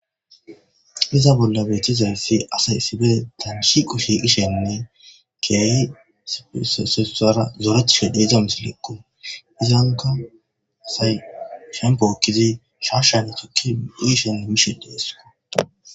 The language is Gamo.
Iza bolla beeththizayssi asay issipe shiiqo shiiqishenne keehi zorethishe de7iza misilekkoo; izankka asay shemppo ekkidi shaashshaara thukke uyishinne mishe de7ees.